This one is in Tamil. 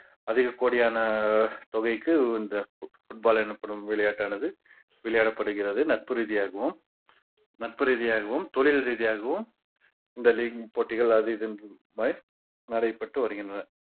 அதிக கோடியான தொகைக்கு இந்த fo~ foot ball எனப்படும் விளையாட்டானது விளையாடப்படுகிறது. நட்பு ரீதியாகவும் நட்பு ரீதியாகவும், தொழில் ரீதியாகவும் இந்த league போட்டிகள் அது இது என்று நடைபெற்று வருகின்றன.